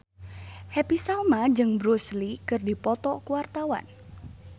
Happy Salma jeung Bruce Lee keur dipoto ku wartawan